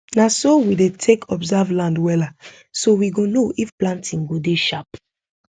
na so we dey take observe land wella so we go know if planting go dey sharp